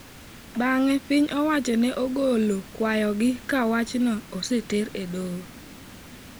Bang'e piny owacho ne ogolo kwayogi ka wachno oseter e doho.